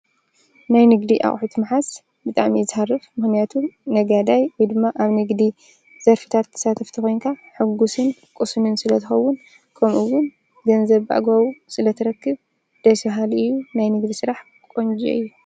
ናይ ንግዲ ኣቝሑት መሓስ ብጣም ይዝርፍ ምህንያቱ ነጋዳይ ኢድማ ኣብ ነግዲ ዘርፊታት ትሳተፍቲ ኾንካ ሕጕስን ቊስምን ስለትኸውን ቆምኡውን ገንዘብጓዊ ስለ ተረክብ ደሲሃል እዩ ናይ ንግዲ ሥራሕ ቖንዚ እዩ።